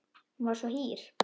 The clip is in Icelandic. Hún var svo hýr.